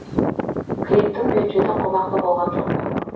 клиптің бюджеті қомақты болған жоқ